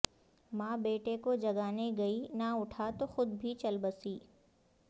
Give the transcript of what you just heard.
ماں بیٹے کو جگانے گئی نہ اٹھا تو خود بھی چل بسی